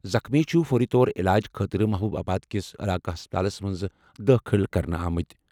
زخمی چھِ فوری طور علاج خٲطرٕ محبوب آباد کِس علاقہٕ ہسپتالَس منٛز دٲخٕل کرنہٕ آمٕتۍ۔